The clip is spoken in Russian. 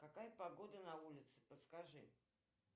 какая погода на улице подскажи